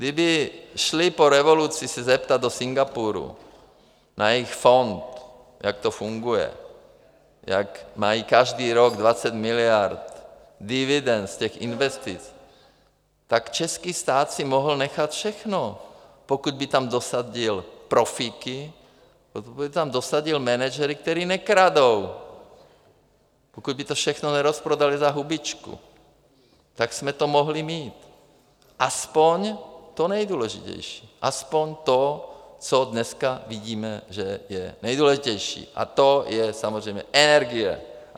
Kdyby šli po revoluci se zeptat do Singapuru na jejich fond, jak to funguje, jak mají každý rok 20 miliard dividend z těch investic, tak český stát si mohl nechat všechno, pokud by tam dosadil profíky, pokud by tam dosadil manažery, kteří nekradou, pokud by to všechno nerozprodali za hubičku, tak jsme to mohli mít, aspoň to nejdůležitější, aspoň to, co dneska vidíme, že je nejdůležitější, a to je samozřejmě energie.